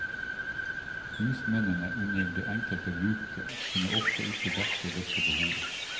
Husmennene under det enkelte bruket kunne ofte ikke dekke dette behovet.